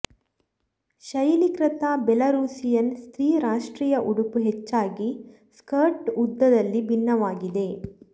ಶೈಲೀಕೃತ Belarusian ಸ್ತ್ರೀ ರಾಷ್ಟ್ರೀಯ ಉಡುಪು ಹೆಚ್ಚಾಗಿ ಸ್ಕರ್ಟ್ನ ಉದ್ದದಲ್ಲಿ ಭಿನ್ನವಾಗಿದೆ